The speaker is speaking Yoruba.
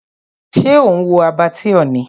Ṣé ò ń wo Abattoir ni?